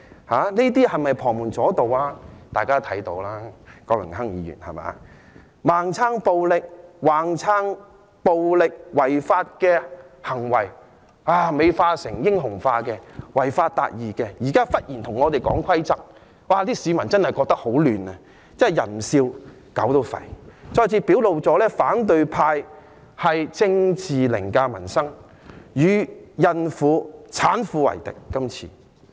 反對派盲撐暴力、盲撐暴力違法行為，將暴力行為美化和英雄化，說這些是違法達義，現在忽然跟我們說規則，市民真的覺得很混亂，真是"人不笑，狗也吠"，再次表露反對派是政治凌駕民生，這次他們是與孕婦、產婦為敵。